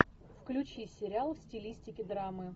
включи сериал в стилистике драмы